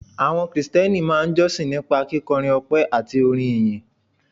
Àwọn Krìsìtẹ́nì máa ń jọ́sìn nípa kíkọrin ọpẹ́ àti orin ìyìn